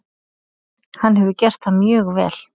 Hann hefur gert það mjög vel.